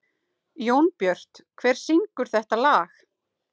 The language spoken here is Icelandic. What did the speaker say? Jónbjört, hver syngur þetta lag?